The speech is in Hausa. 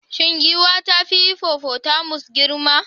Shin giwa ta fi hippopotamus girma?